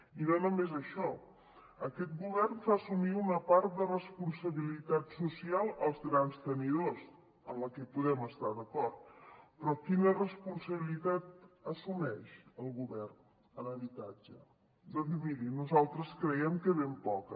i no només això aquest govern fa assumir una part de responsabilitat social als grans tenidors en la que hi podem estar d’acord però quina responsabilitat assumeix el govern en habitatge doncs miri nosaltres creiem que ben poca